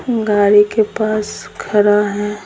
गाड़ी के पास खड़ा है।